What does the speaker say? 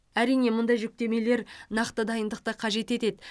әрине мұндай жүктемелер нақты дайындықты қажет етеді